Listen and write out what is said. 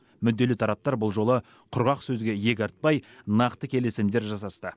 мүдделі тараптар бұл жолы құрғақ сөзге иек артпай нақты келісімдер жасасты